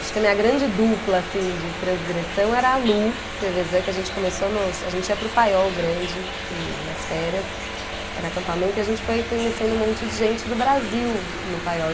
Acho que a minha grande dupla, assim, de transgressão era a Lu, que a gente começou no, a gente ia para o Paiol Grande, que, nas férias, que era acampamento, e a gente foi conhecendo um monte de gente do Brasil no Paiol.